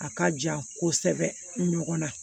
A ka jan kosɛbɛ ɲɔgɔn na